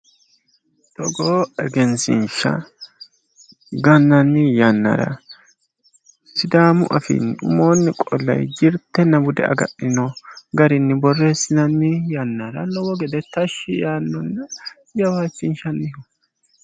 togoo egenshshiishsha gananni yannara sidaamu afiinni umoonni qolle jirtenna bude agadhino garinni borreessinanni yannara lowo gede tashshi yaanno jawaachinshshanniho.